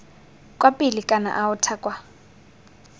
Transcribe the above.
kwa pele kana aotha kwa